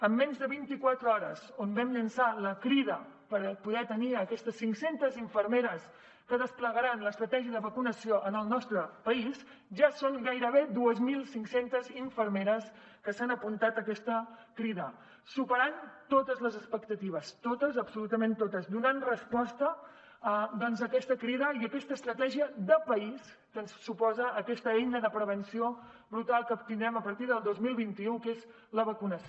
en menys de vinti quatre hores on vam llançar la crida per poder tenir aquestes cinc centes infermeres que desplegaran l’estratègia de vacunació en el nostre país ja són gairebé dos mil cinc cents infermeres que s’han apuntat a aquesta crida superant totes les expectatives totes absolutament totes donant resposta a aquesta crida i a aquesta estratègia de país que suposa aquesta eina de prevenció brutal que tindrem a partir del dos mil vint u que és la vacunació